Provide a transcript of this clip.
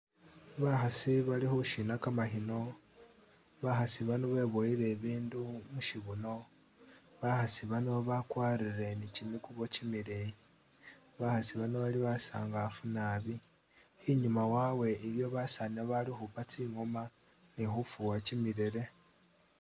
Bakhaasi bali khushina kamakhino, bakhaasi bano beboyele e'bindu mushibuno, bakhaasi bano bakwarile ni kimikubo kimileyi, bakhaasi bano bali basaangafu naabi, i'nyuma wawe iliyo basaani bali u'khupa tsi'ngoma ni khufuwa kimilele